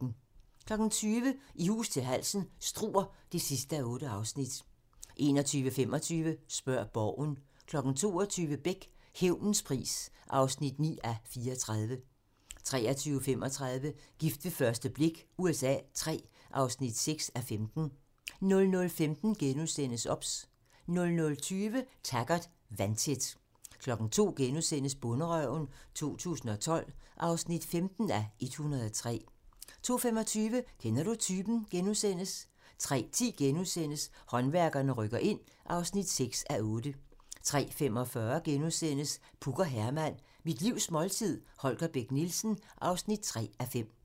20:00: I hus til halsen - Struer (8:8) 21:25: Spørg Borgen 22:00: Beck: Hævnens pris (9:34) 23:35: Gift ved første blik USA III (6:15) 00:15: OBS * 00:20: Taggart: Vandtæt 02:00: Bonderøven 2012 (15:103)* 02:25: Kender du typen? * 03:10: Håndværkerne rykker ind (6:8)* 03:45: Puk og Herman - Mit livs måltid - Holger Bech Nielsen (3:5)*